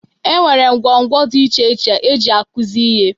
E nwere ngwo ngwo dị iche iche eji akụzi ihe.